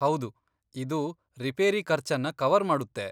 ಹೌದು, ಇದು ರಿಪೇರಿ ಖರ್ಚನ್ನ ಕವರ್ ಮಾಡುತ್ತೆ.